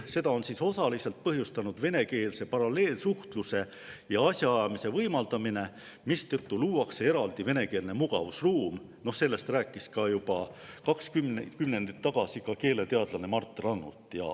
"Seda on osaliselt põhjustanud venekeelse paralleelsuhtluse ja asjaajamise võimaldamine, mistõttu luuakse eraldi venekeelne mugavusruum "" Seda rääkis juba kaks kümnendit tagasi keeleteadlane Mart Rannut.